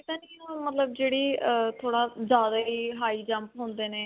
ਵਾਲੀ ਤਾਂ ਨਹੀਂ ਮਤਲਬ ਜਿਹੜੀ ਅਅ ਥੋੜਾ ਜਿਆਦਾ ਹੀ high jump ਹੁੰਦੇ ਨੇ.